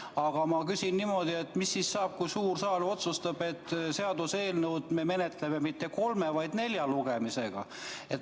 Aga ma küsin niimoodi: mis saab siis, kui suur saal otsustab, et me ei menetle seaduseelnõu mitte kolme, vaid nelja lugemisega?